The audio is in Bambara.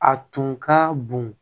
A tun ka bon